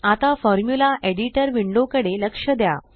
आता formula editor window कडे लक्ष द्या